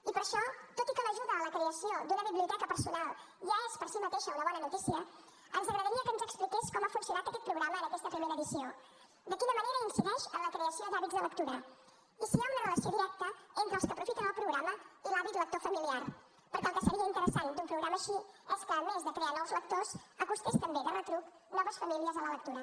i per això tot i que l’ajuda a la creació d’una biblioteca personal ja és per sí mateixa una bona notícia ens agradaria que ens expliqués com ha funcionat aquest programa en aquesta primera edició de quina manera incideix en la creació d’hàbits de lectura i si hi ha una relació directa entre els que aprofiten el programa i l’hàbit lector familiar perquè el que seria interessant d’un programa així és que a més de crear nous lectors acostés també de retruc noves famílies a la lectura